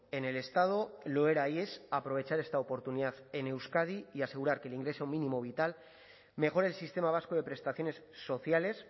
en el estado lo era y es aprovechar esta oportunidad en euskadi y asegurar que el ingreso mínimo vital mejore el sistema vasco de prestaciones sociales